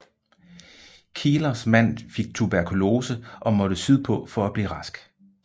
Kielers mand fik tuberkulose og måtte sydpå for at blive rask